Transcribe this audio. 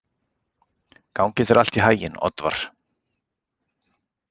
Gangi þér allt í haginn, Oddvar.